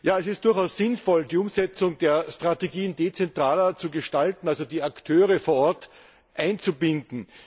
Es ist durchaus sinnvoll, die Umsetzung der Strategien dezentraler zu gestalten, also die Akteure vor Ort einzubinden.